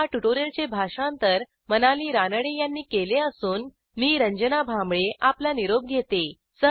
ह्या ट्युटोरियलचे भाषांतर मनाली रानडे यांनी केले असून मी रंजना भांबळे आपला निरोप घेते160